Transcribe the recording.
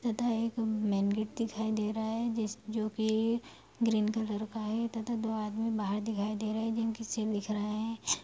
तथा एक main gate दिखाई दे रहा है जिस जो कि ग्रीन कलर का है तथा दो आदमी बाहर दिखाई दे रहे हैं जिनके सिर दिख रहे हैं।